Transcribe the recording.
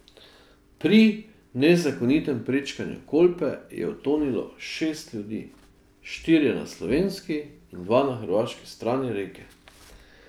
Pri nezakonitem prečkanju Kolpe je utonilo šest ljudi, štirje na slovenski in dva na hrvaški strani reke.